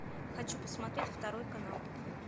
хочу посмотреть второй канал